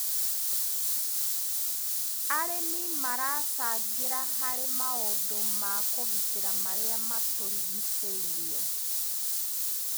Arĩmi maracangĩra harĩ maundũ ma kũgitĩra marĩa matũrigicĩirie.